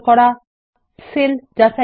কিভাবে সেল যাচাই